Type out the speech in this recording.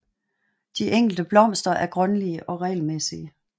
De enkelte blomster er grønlige og regelmæssige